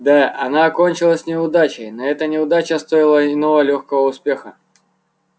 да она окончилась неудачей но эта неудача стоила иного лёгкого успеха